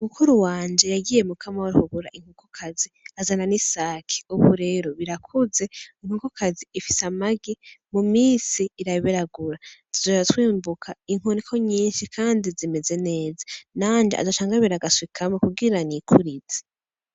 Umukuru wanje yagiye mukama w'arikugura inkukokazi azana n'i saki, ubu rero birakuze inkukokazi ifise amagi mu misi iraberagura tujora twimbuka inkoniko nyinshi, kandi zimeze neza nanje azacangabira agaswikame kugirana nikurizi.